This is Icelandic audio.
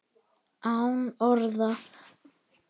Án orða.